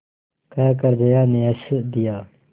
कहकर जया ने हँस दिया